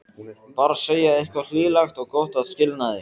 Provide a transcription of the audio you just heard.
Bara segja eitthvað hlýlegt og gott að skilnaði.